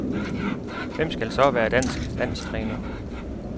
Hvem skal så være dansk landstræner?